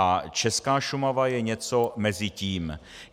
A česká Šumava je něco mezi tím.